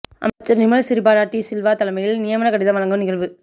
அமைச்சர் நிமல் சிறிபால டி சில்வா தலைமையில் நியமனக்கடிதம் வழங்கும் நிகழ்வு